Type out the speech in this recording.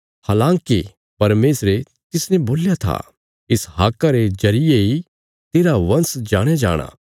हलाँकि परमेशरे तिसने बोल्या था इसहाका रे जरिये इ तेरा वंश जाणया जाणाँ